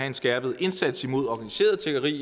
en skærpet indsats mod organiseret tiggeri